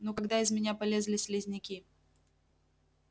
ну когда из меня полезли слизняки